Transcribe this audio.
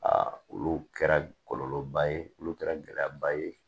olu kɛra kɔlɔlɔ ba ye olu kɛra gɛlɛya ba ye